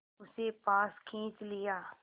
उसे पास खींच लिया